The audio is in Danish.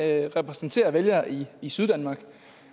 jeg repræsenterer vælgere i i syddanmark